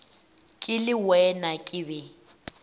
ke le wena ke be